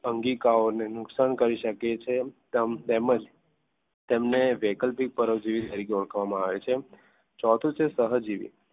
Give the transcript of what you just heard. અંગિકાઓને નુકસાન કરી શકે છે. તેમ જ તેમને વૈકલ્પિક પરોપજીવી તરીકે ઓળખવામાં આવે છે. ચોથું છે સહજીવી